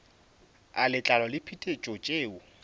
a letlalo le diphetetšo tšeo